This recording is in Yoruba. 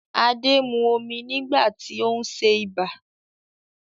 Adé mu omi nígbà tí ó ń ṣe ibà